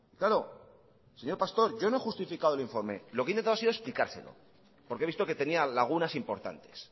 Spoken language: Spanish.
claro señor pastor yo no he justificado el informe lo que he intentado ha sido explicárselo porque he visto que tenía lagunas importantes